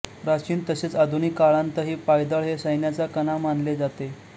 प्राचीन तसेच आधुनीक काळांतही पायदळ हे सैन्याचा कणा मानले जाते